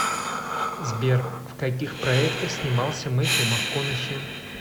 сбер в каких проектах снимался мэттью макконахи